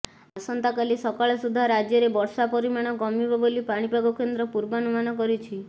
ଆସନ୍ତାକାଲି ସକାଳ ସୁଦ୍ଧା ରାଜ୍ୟରେ ବର୍ଷା ପରିମାଣ କମିବ ବୋଲି ପାଣିପାଗ କେନ୍ଦ୍ର ପୂର୍ବାନୁମାନ କରିଛି